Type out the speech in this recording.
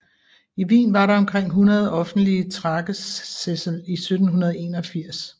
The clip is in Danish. I Wien var der omkring hundrede offentlige Tragesessel i 1781